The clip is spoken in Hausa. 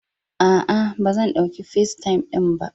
A'a, ba zan ɗauki FaceTime din ba.